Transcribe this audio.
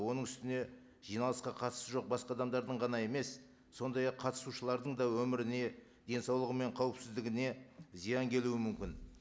оның үстіне жиналысқа қатысы жоқ басқа адамдардың ғана емес сондай ақ қатысушылардың да өміріне денсаулығы мен қауіпсіздігіне зиян келуі мүмкін